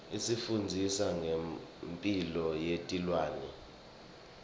isifundzisa nengemphilo yetilwane